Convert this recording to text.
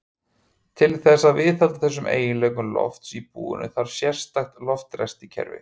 Til þess að viðhalda þessum eiginleikum lofts í búinu þarf sérstakt loftræstikerfi.